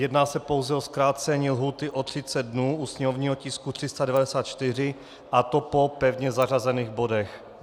Jedná se pouze o zkrácení lhůty o 30 dnů u sněmovního tisku 394, a to po pevně zařazených bodech.